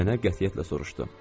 Nənə qətiyyətlə soruşdu.